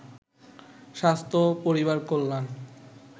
স্বাস্থ্য ও পরিবার কল্যাণ